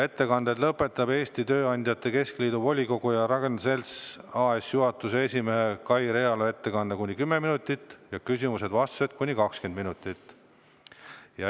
Ettekanded lõpetab Eesti Tööandjate Keskliidu volikogu ja Ragn-Sells AS-i juhatuse esimehe Kai Realo 10‑minutiline ettekanne ja küsimusteks-vastusteks 20 minutit.